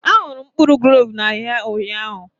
Ahụrụ m mkpụrụ gloves n'ahịa ụnyaahụ